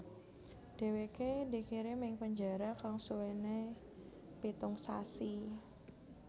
Dheweke dikirim ing penjara kang suwene pitung sasi